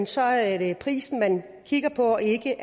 så er det prisen man kigger på ikke